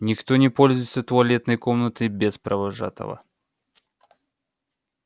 никто не пользуется туалетной комнатой без провожатого